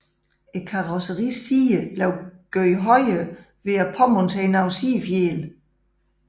Karosseriets sider blev gjort højere ved at påmontere sidefjæle